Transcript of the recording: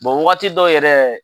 wagati dɔ yɛrɛ